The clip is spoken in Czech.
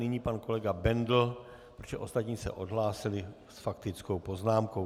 Nyní pan kolega Bendl, protože ostatní se odhlásili s faktickou poznámkou.